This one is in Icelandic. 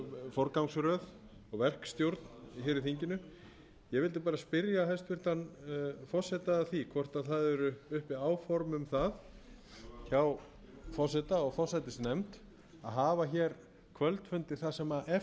forgangsröð og verkstjórn hér í þinginu ég vildi bara spyrja hæstvirtan forseta að því hvort það eru uppi áform um það hjá forseta og forsætisnefnd að hafa hér kvöldfundi það sem eftir